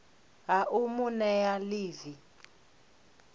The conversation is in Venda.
ha u mu nea ḽivi